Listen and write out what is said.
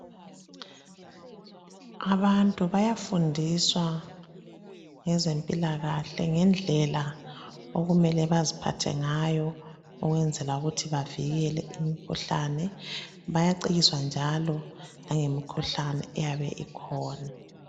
Abantu bayafundiswa ngezempilakahle ngendlela okumele baziphathe ngayo ukwenzela ukuthi bavikele imikhuhlane bayacikiswa njalo langemikhuhlane eyabe ikhona